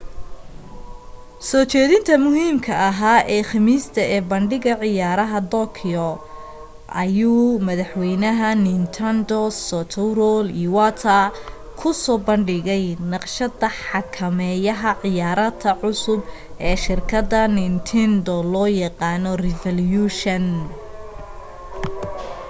soo jeedinta muhiimka ahaa ee khamiista ee bandhiga ciyaaraha tokyo ayuu madaxwaynaha nintendo satoru iwata ku soo bandhigay naqshada xakameeyaha ciyaarta cusub ee shirkadda nintendo loo yaqaano revolution